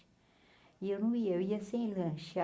E eu não ia, eu ia sem lanche.